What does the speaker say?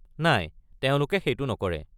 নাই, তেওঁলোকে সেইটো নকৰে।